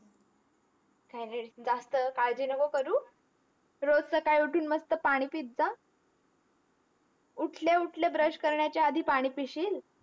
काही नाही, जास्त काळजी नको करू. रोज सकाळी उठून मस्त पाणी पित जा. उठल्या उठल्या brush करण्याच्या आधी पाणी पिशील?